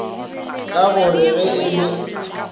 ka gore ge e le